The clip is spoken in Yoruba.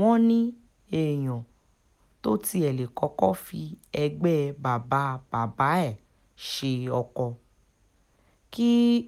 wọ́n ní èèyàn tó tiẹ̀ ti lè kọ́kọ́ fi ẹgbẹ́ bàbá bàbá ẹ̀ ṣe ọkọ kí um